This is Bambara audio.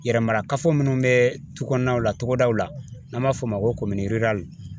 Yɛrɛ mara kafo minnu bɛ tu kɔnɔnaw la togodaw la n'an b'a fɔ o ma ko